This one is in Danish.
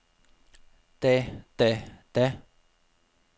da da da